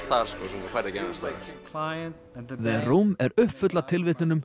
þar sem þú færð ekki annars staðar the er uppfull af tilvitnunum